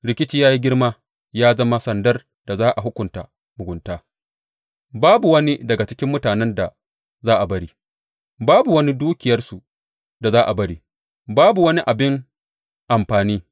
Rikici ya yi girma ya zama sandar da za a hukunta mugunta; babu wani daga cikin mutanen da za a bari, babu wani dukiyarsu da za a bari, babu wani abin amfani.